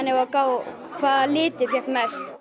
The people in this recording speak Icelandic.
að gá hvaða litur fékk mest